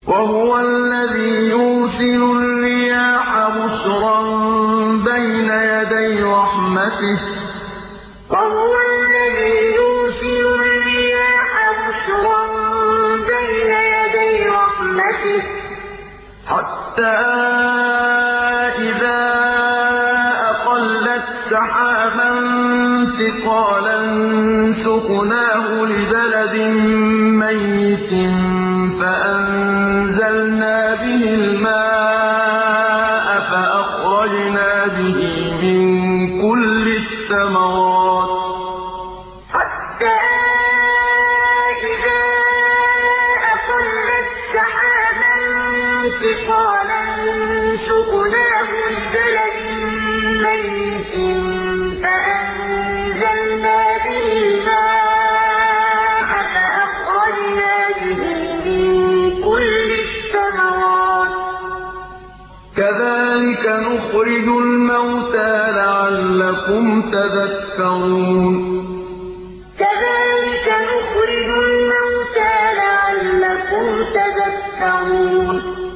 وَهُوَ الَّذِي يُرْسِلُ الرِّيَاحَ بُشْرًا بَيْنَ يَدَيْ رَحْمَتِهِ ۖ حَتَّىٰ إِذَا أَقَلَّتْ سَحَابًا ثِقَالًا سُقْنَاهُ لِبَلَدٍ مَّيِّتٍ فَأَنزَلْنَا بِهِ الْمَاءَ فَأَخْرَجْنَا بِهِ مِن كُلِّ الثَّمَرَاتِ ۚ كَذَٰلِكَ نُخْرِجُ الْمَوْتَىٰ لَعَلَّكُمْ تَذَكَّرُونَ وَهُوَ الَّذِي يُرْسِلُ الرِّيَاحَ بُشْرًا بَيْنَ يَدَيْ رَحْمَتِهِ ۖ حَتَّىٰ إِذَا أَقَلَّتْ سَحَابًا ثِقَالًا سُقْنَاهُ لِبَلَدٍ مَّيِّتٍ فَأَنزَلْنَا بِهِ الْمَاءَ فَأَخْرَجْنَا بِهِ مِن كُلِّ الثَّمَرَاتِ ۚ كَذَٰلِكَ نُخْرِجُ الْمَوْتَىٰ لَعَلَّكُمْ تَذَكَّرُونَ